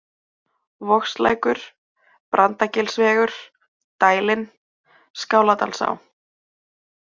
Vogslækur, Brandagilsvegur, Dælin, Skáladalsá